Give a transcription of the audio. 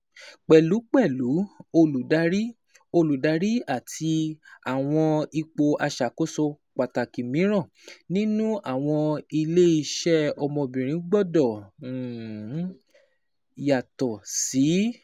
Pẹlupẹlu, oludari oludari ati awọn ipo iṣakoso pataki miiran ninu awọn ile-iṣẹ ọmọbirin gbọdọ yato si